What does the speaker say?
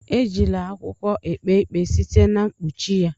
Ejila akwụkwọ ekpe ikpe site na mkpuchi ya.